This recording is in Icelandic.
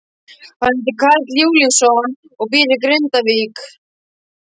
Hann heitir Karl Júlíusson og býr í Grindavík.